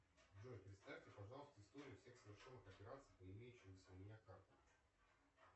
джой представьте пожалуйста историю всех совершенных операций по имеющимся у меня картам